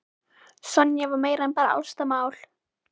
Sonja var meira en bara ástarmál.